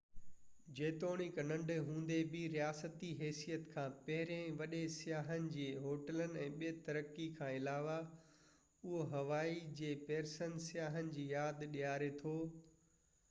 جيتوڻڪ ننڍو هوندي بہ رياستي حيثيت کان پهرين وڏين سياهن جي هوٽلن ۽ ٻي ترقي کان علاوه اهو هوائي جي پيرسن سياحن جي ياد ڏياري ٿو